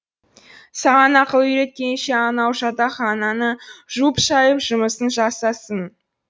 саған ақыл үйреткенше анау жатақхананы жуып шайып жұмысын жасасын